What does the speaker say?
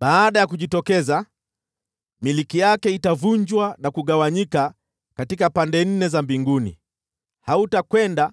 Baada ya kujitokeza, milki yake itavunjwa na kugawanyika katika pande nne za mbinguni. Hautakwenda